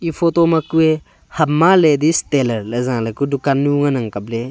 photo ma kue hamma ladies tailor jaley ka dukan nu ngan nga kapley.